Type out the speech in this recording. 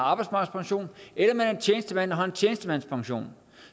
arbejdsmarkedspension eller man er tjenestemand og har en tjenestemandspension